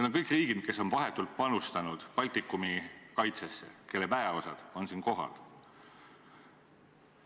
Nad kõik esindavad riike, kes on vahetult panustanud Baltikumi kaitsesse ja kelle väeosad on siin kohal.